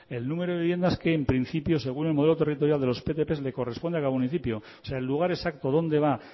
el número de viviendas que en principio según el modelo territorial de los ptp le corresponde a cada municipio o sea el lugar exacto dónde va